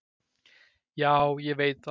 """Já, ég veit það."""